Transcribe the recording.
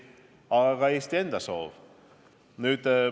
Aga selle taga on ka Eesti enda soov.